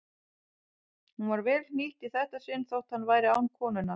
Hún var vel hnýtt í þetta sinn þótt hann væri án konunnar.